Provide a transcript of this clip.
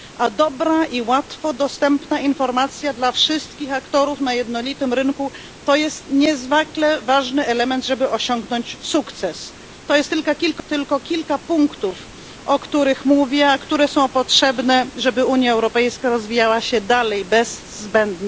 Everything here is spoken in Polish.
A dobra i łatwo dostępna informacja dla wszystkich aktorów na jednolitym rynku to jest niezwykle ważny element, żeby osiągnąć sukces. To jest tylko kilka punktów, o których mówię, a które są potrzebne, żeby Unia Europejska rozwijała się dalej bez zbędnych barier.